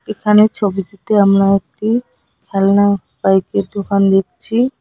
এখানে ছবিটিতে আমরা একটি খেলনা বাইকের দোকান দেখছি।